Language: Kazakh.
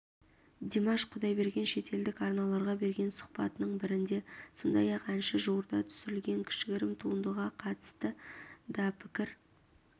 димаш құдайберген шетелдік арналарға берген сұхбатының бірінде сондай-ақ әнші жуырда түсірілген кішігірім туындыға қатысты дапікір